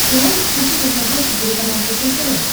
ты можешь включить на смотрешке телеканал фэшен тв